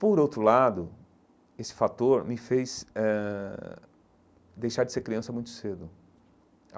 Por outro lado, esse fator me fez eh ãh deixar de ser criança muito cedo.